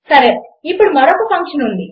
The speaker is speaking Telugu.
సరే ఇప్పుడు మరొక ఫంక్షన్ ఉంది